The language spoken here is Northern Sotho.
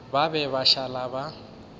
ba be ba šala ba